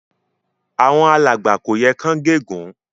Àwon alàgbà kò yẹ kán gé ègún